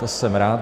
To jsem rád.